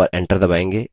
और enter दबायेंगे